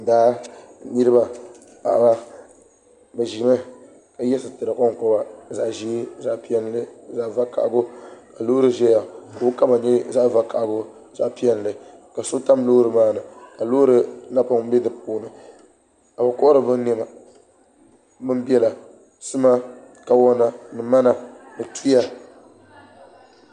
Daa niriba paɣibabi zimi ka yiɛ sitira konkoba zaɣi zɛɛ zaɣi piɛlli zaɣi vakahali ka loori zaya ka o kama yɛ zaɣi vakahali zaɣi piɛlli ka so tam loori maa ni ka loori napɔŋ bɛ di puuni ka bi kɔhiri bi nɛma sima kawona sima kawona tuya.